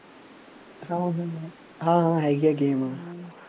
ਹਾਂ ਹਾਂ ਹੈਗੀ ਆ game ਆਪਣੇ